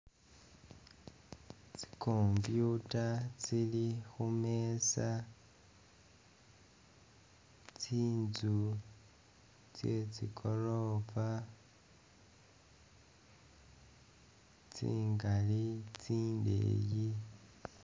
Tsi computer tsili khumeeza, tsinzu tse tsigoroofa tsingaali tsindeeyi